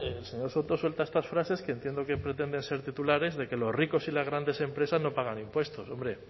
el señor soto suelta estas frases que entiendo que pretenden ser titulares de que los ricos y las grandes empresas no pagan impuestos hombre